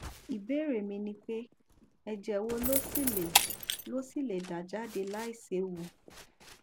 ìbéèrè mi ni pé ẹjẹ wo ló ṣì lè ló ṣì lè dà jáde láìséwu